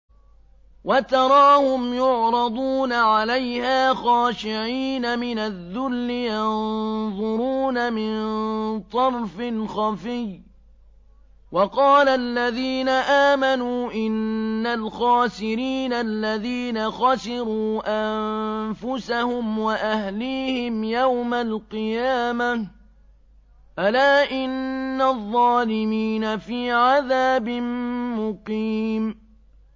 وَتَرَاهُمْ يُعْرَضُونَ عَلَيْهَا خَاشِعِينَ مِنَ الذُّلِّ يَنظُرُونَ مِن طَرْفٍ خَفِيٍّ ۗ وَقَالَ الَّذِينَ آمَنُوا إِنَّ الْخَاسِرِينَ الَّذِينَ خَسِرُوا أَنفُسَهُمْ وَأَهْلِيهِمْ يَوْمَ الْقِيَامَةِ ۗ أَلَا إِنَّ الظَّالِمِينَ فِي عَذَابٍ مُّقِيمٍ